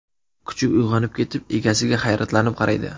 Kuchuk uyg‘onib ketib, egasiga hayratlanib qaraydi.